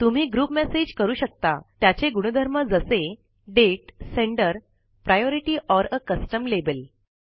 तुम्ही group message करू शकता त्याचे गुणधर्म जसे दाते senderप्रायोरिटी ओर आ कस्टम लाबेल